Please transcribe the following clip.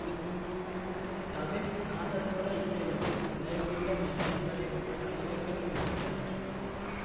தவில் நாதசுவர இசையுலகில் லயப்பிண்டம் என இவரை மற்ற கலைஞர்கள் குறிப்பிட்டனர்